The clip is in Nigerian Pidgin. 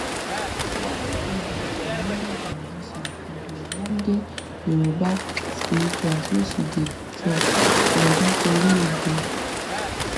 while odas remember di musician for di ogbonge youba spirituals wey she dey dey drop like nitori ogo